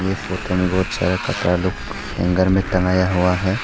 Photo में बहुत सारा कपड़ा लोग हैंगर में टंगाया हुआ है।